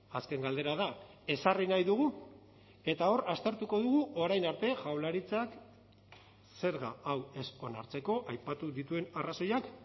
azken galdera da ezarri nahi dugu eta hor aztertuko dugu orain arte jaurlaritzak zerga hau ez onartzeko aipatu dituen arrazoiak